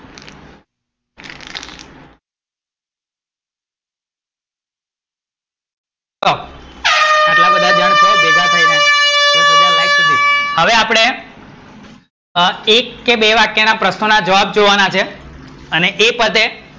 ચલો, હવે આપડે એક કે બે વાક્ય ના પ્રશ્નો ના જવાબ જોવાના છે અને એ પતે